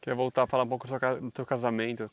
Queria voltar, falar um pouco do seu ca do teu casamento.